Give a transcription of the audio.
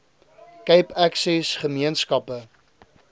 cape access gemeenskappe